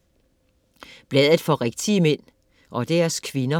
Bladet for rigtige mænd - og deres kvinder